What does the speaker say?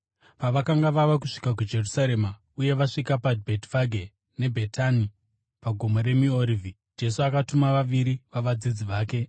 Pavakanga vava kusvika kuJerusarema uye vasvika kuBhetifage neBhetani paGomo reMiorivhi, Jesu akatuma vaviri vavadzidzi vake,